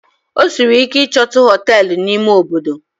Ọ sịrị ike ichotu Họtelụ na ime Obodo